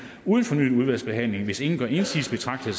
uden fornyet udvalgsbehandling hvis ingen gør indsigelse betragter